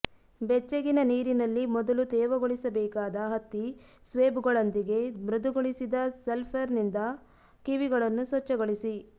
ಬೆಚ್ಚಗಿನ ನೀರಿನಲ್ಲಿ ಮೊದಲು ತೇವಗೊಳಿಸಬೇಕಾದ ಹತ್ತಿ ಸ್ವೇಬ್ಗಳೊಂದಿಗೆ ಮೃದುಗೊಳಿಸಿದ ಸಲ್ಫರ್ನಿಂದ ಕಿವಿಗಳನ್ನು ಸ್ವಚ್ಛಗೊಳಿಸಿ